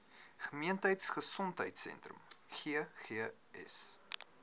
gemeenskap gesondheidsentrum ggs